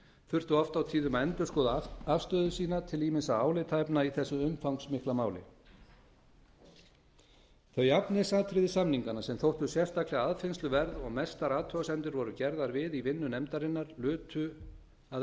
þurftu oft á tíðum að endurskoða afstöðu sína til ýmissa álitaefna í þessu umfangsmikla máli þau efnisatriði samninganna sem þóttu sérstaklega aðfinnsluverð og mestar athugasemdir voru gerðar við í vinnu nefndarinnar lutu að